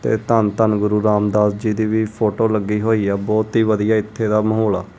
ਤੇ ਧੰਨ ਧੰਨ ਗੁਰੂ ਰਾਮਦਾਸ ਜੀ ਦੀ ਵੀ ਫੋਟੋ ਲੱਗੀ ਹੋਈ ਆ ਬਹੁਤ ਹੀ ਵਧੀਆ ਇੱਥੇ ਦਾ ਮਾਹੌਲ ਆ।